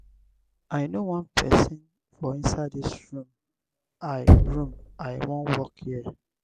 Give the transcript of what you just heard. i no wan person for inside dis room i room i wan work here